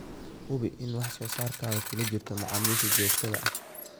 Hubi inaad wax soo saarkaga kula jirto macaamiisha joogtada ah.